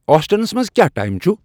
آسٹنس منز کیا ٹایم چُھ ؟